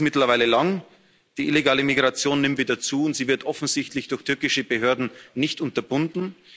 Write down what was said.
Die Liste ist mittlerweile lang Die illegale Migration nimmt wieder zu, und sie wird offensichtlich durch türkische Behörden nicht unterbunden.